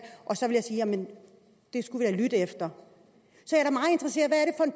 det skulle vi da lytte efter